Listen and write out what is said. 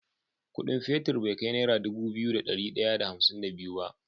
Ƙudin fetir be kai naira Dubu biyu da dari daya da hamsin da biyu ba